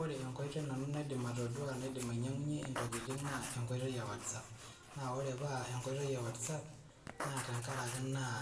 Ore enkoitoi nanu naidim atodua naidim ainyang'unye intokiting, naa enkoitoi e WhatsApp. Na ore paa enkoitoi e WhatsApp, naa tenkaraki naa